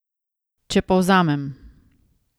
Če povzamem.